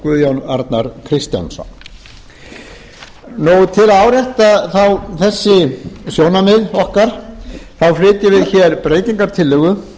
guðjón arnar kristjánsson til að árétta þessi sjónarmið okkar þá flytjum við hér breytingartillögu